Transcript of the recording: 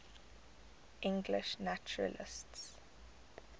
english naturalists